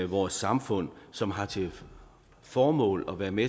vores samfund som har til formål at være med